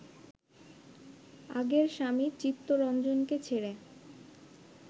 আগের স্বামী চিত্তরঞ্জনকে ছেড়ে